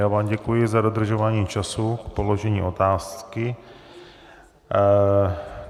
Já vám děkuji za dodržování času k položení otázky.